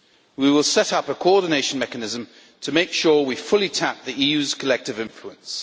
We will set up a coordination mechanism to make sure we fully tap the EU's collective influence.